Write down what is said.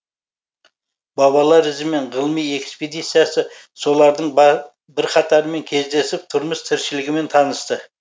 бабалар ізімен ғылыми экспедициясы солардың бірқатарымен кездесіп тұрмыс тіршілігімен танысты